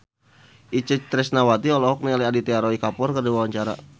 Itje Tresnawati olohok ningali Aditya Roy Kapoor keur diwawancara